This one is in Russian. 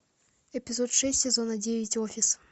эпизод шесть сезона девять офис